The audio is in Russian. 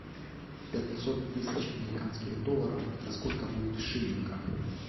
пятьсот тысяч американских долларов это сколько будет в шиллингах